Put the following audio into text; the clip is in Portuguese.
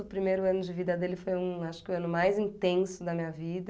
O primeiro ano de vida dele foi um, acho que o ano mais intenso da minha vida.